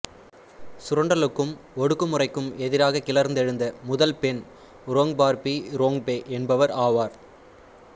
சுரண்டலுக்கும் ஒடுக்குமுறைக்கும் எதிராக கிளர்ந்தெழுந்த முதல் பெண் ரோங்பார்பி ரோங்பே என்பவர் ஆவார்